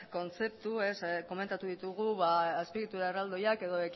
kontzeptu azpiegitura erraldoiak edo